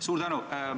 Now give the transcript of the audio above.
Suur tänu!